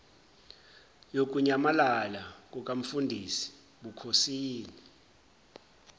yokunyamalala kukamfundisi bukhosini